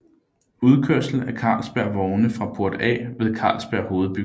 Udkørsel af Carlsberg vogne fra port A ved Carlsberg Hovedbygning